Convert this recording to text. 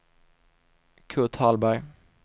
Kurt Hallberg